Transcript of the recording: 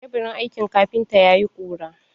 Teburin aikin kafintan yayi ƙura.